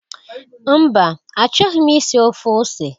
Mba, achọghị m isi ofe ose